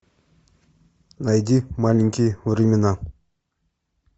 найди маленькие времена